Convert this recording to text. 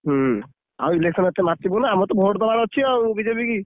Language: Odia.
ହୁଁ, ଆଉ election ରେ ଏତେ ମାତିବୁନି। ଆମର ତ vote ଦବାର ଅଛି ଆଉ BJP କି।